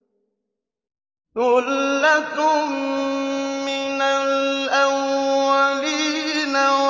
ثُلَّةٌ مِّنَ الْأَوَّلِينَ